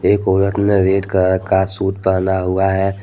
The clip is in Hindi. एक औरत ने रेड कलर का सूट पहना हुआ है।